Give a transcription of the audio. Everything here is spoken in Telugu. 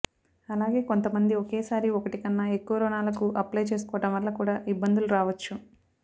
అలాగే కొంతమంది ఒకేసారి ఒకటి కన్నా ఎక్కువ రుణాలకు అప్లై చేసుకోవడం వల్ల కూడా ఇబ్బందులు రావొచ్చు